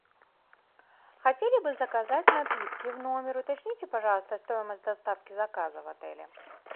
хотели бы заказать напитки в номер уточните пожалуйста стоимость доставки заказа в отеле